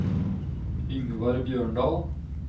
Yngvar Bjørndal